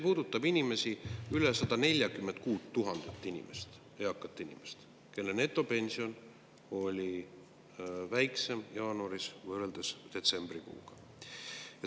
Üle 146 000 eaka inimese netopension oli jaanuaris väiksem kui detsembrikuus.